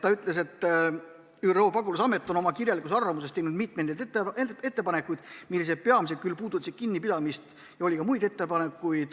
Ta ütles, et ÜRO pagulasamet on oma kirjalikus arvamuses teinud mitmeid ettepanekuid, mis peamiselt puudutasid kinnipidamist, aga oli ka muid ettepanekuid.